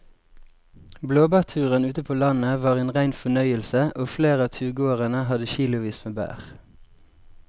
Blåbærturen ute på landet var en rein fornøyelse og flere av turgåerene hadde kilosvis med bær.